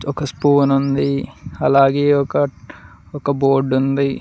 ఒక స్పూనుంది అలాగే ఒక బోర్డు ఉంది.